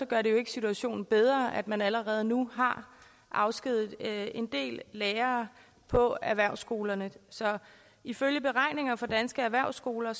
gør det jo ikke situationen bedre at man allerede nu har afskediget en del lærere på erhvervsskolerne ifølge beregninger fra danske erhvervsskoler